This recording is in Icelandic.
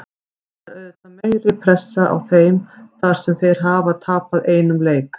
Það er auðvitað meiri pressa á þeim þar sem þeir hafa tapað einum leik.